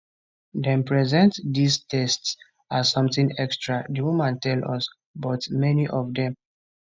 dem present dis tests as something extra di women tell us but many of dem